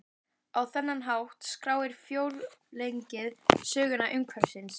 Á þennan hátt skráir frjóregnið sögu umhverfisins.